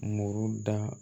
Muru da